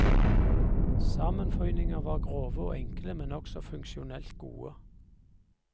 Sammenføyninger var grove og enkle, men også funksjonelt gode.